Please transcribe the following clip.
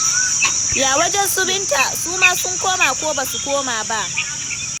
Ya wajen su Binta, su ma sun koma ko ba su koma ba?